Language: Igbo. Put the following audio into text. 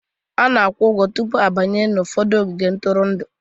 A na-akwụ ụgwọ tupu a banye ụfọdụ ogige ntụrụndụ.